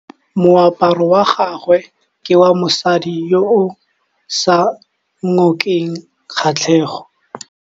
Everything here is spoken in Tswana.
Moaparô wa gagwe ke wa mosadi yo o sa ngôkeng kgatlhegô.